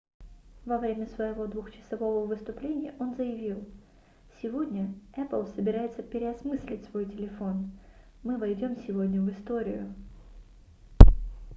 во время своего двухчасового выступления он заявил сегодня apple собирается переосмыслить свой телефон мы войдём сегодня в историю